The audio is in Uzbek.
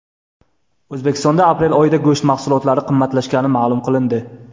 O‘zbekistonda aprel oyida go‘sht mahsulotlari qimmatlashgani ma’lum qilindi.